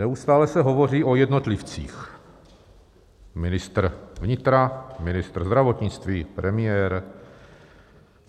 Neustále se hovoří o jednotlivcích - ministr vnitra, ministr zdravotnictví, premiér.